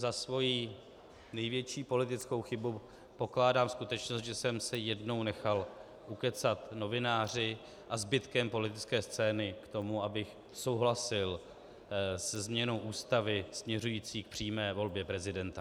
Za svoji největší politickou chybu pokládám skutečnost, že jsem se jednou nechal ukecat novináři a zbytkem politické scény k tomu, abych souhlasil se změnou Ústavy směřující k přímé volbě prezidenta.